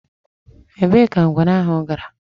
Èbée ka ngwere ahụ gara?